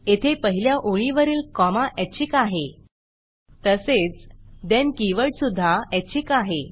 येथे पहिल्या ओळीवरील कॉमा ऐच्छिक आहे तसेच thenद्यन की वर्ड सुध्दा ऐच्छिक आहे